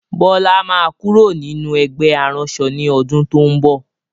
Bọlá máa kúrò nínú ẹgbẹ́ aránṣọ ni ọdún to ń bọ̀.